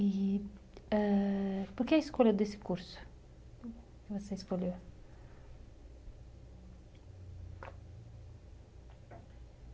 E, ãh... por que a escolha desse curso que você escolheu?